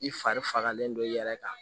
I fari fagalen don i yɛrɛ kan